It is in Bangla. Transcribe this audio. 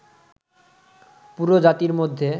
পুরো জাতির মধ্যে